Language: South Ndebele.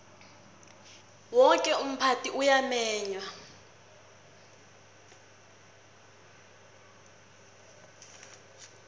woke umphakathi uyamenywa